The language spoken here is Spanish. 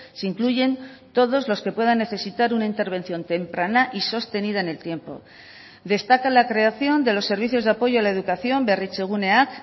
se incluyen todos los que puedan necesitar una intervención temprana y sostenida en el tiempo destaca la creación de los servicios de apoyo a la educación berritzeguneak